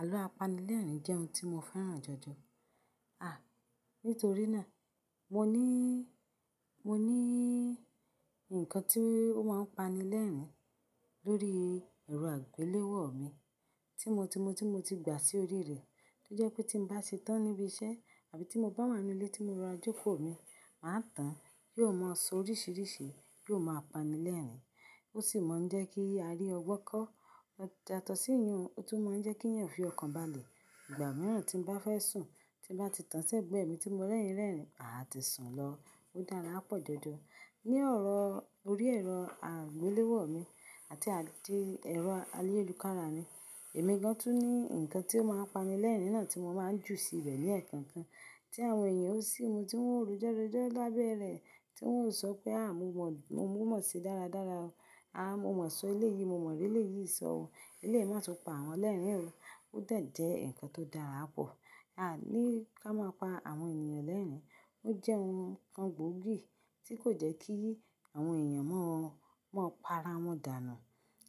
Àlọ́ apanilẹ́rìn jẹ́ ohun tí mo fẹ́ràn jọ̀jọ̀. À, nítorí náà mo níí, mo níí nǹkan tí ó máa ń pani lẹ́rìn-ín lórí ẹ̀rọ àgbéléwò mi tí mo ti, mo tí mo ti gbà sí orí rẹ̀. Tó jẹ́ pé tí n bá ṣe tán níbi iṣẹ́ àbí tí mo bá wà nínú ilé tí mo ra jòkò mi máa tán, yóò máa sọ oríṣiríṣi, yóò máa pani lẹ́rìn-ín. Ó sì máa ń jẹ́ kí a rí ọgbọ́n kọ́, ó yàtọ̀ sí ìyèn oùn, ó tún máa ń jẹ́ kí èèyàn fi ọkàn balẹ̀. Ìgbà mìíràn tí mo bá fẹ́ sùn, tí mo bá ti tán ṣẹ́gbẹ́ mi tí mo rẹ́yìn rẹ́rìn-ín, aà tí sùn lọ. Ó dára pọ̀ jọ̀jọ̀. Ni ọ̀rọ̀ orí ẹ̀rọ àgbéléwò mi àti àdí ẹ̀rọ ayélùkára mi, èmi gan-an tún ní nǹkan tí ó máa pani lẹ́rìn-ín náà tí mo máa ń jù sí ibẹ̀ ní ẹ̀kan kan tí àwọn èèyàn ó sì mú tí wọ́n ó rojọ́ rojọ́ lábẹ́ rẹ̀ tí wọ́n ó ń sọ pé “àá mo mọ̀, mo mọ̀ síi dáradára o. Aà mo mọ̀ sọ ilé yìí, mo mọ̀ rí elé yìí sọ o. Elé yìí máa tún pa àwọn lẹ́rìn-ín o.” Ó dèjẹ́ nǹkan tó dára pọ̀. Aà ní ká máa pa àwọn èniyàn lẹ́rìn-ín. Ó jẹ́ nǹkan gbòógì tí kò jẹ́ kí àwọn èèyàn máa ń, máa pa ara wọn dànù,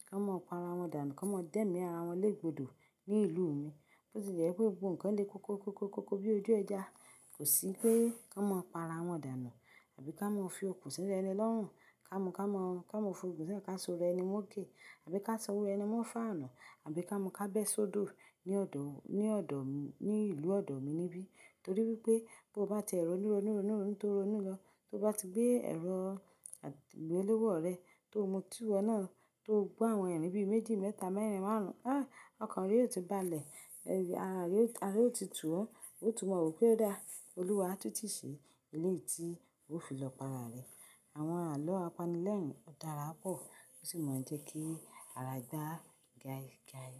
ká máa pa ara wọn dànù, ká máa dẹ́mí ara wọn lé gbodò ní ìlú mi. Bó ti jẹ́ pé gbogbo nǹkan le koko koko koko bí ojú ẹja, kò sí pé ká máa pa ara wọn dànù àbí ká máa fi okùn sínú ẹni lọ́rùn. Ká mú ká máa, ká mú okùn sínú, ká so arà ẹni móke àbí ká so owó ẹni mó fàánù àbí ká mú ká bẹ́ sódò ní ọ̀dọ̀, ní ọ̀dọ̀, ní ìlú ọ̀dọ̀ mi níbí. Torí wípé bó bá ti ẹ̀ rọ̀nú, rònú, rònú, tò, rònú lọ, tó bá ti gbé ẹ̀rọ àgbéléwò rẹ tó mu tí wò nà tó gbọ́ àwọn ẹ̀rìnnì bí méjì, mẹ́ta, mẹ́rìn, márùn-ún, aá ọkàn rẹ ó ti balẹ̀. Ẹri, ara rẹ ó ti tù ọ́, ó tún máa wò pé ó dáa. Olúwa tútù ṣe ilé tí ó fi lọ pa ara rẹ̀. Àwọn àlọ́ apanilẹ́rìn ó dára pọ̀. Ó sì máa ń jẹ́ kí ara gbá gaigaí.